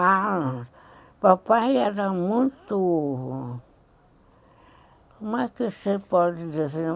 Ah, papai era muito... Como é que você pode dizer?